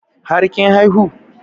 Har kin haihu?